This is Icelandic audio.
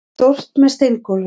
Það er stórt, með steingólfi.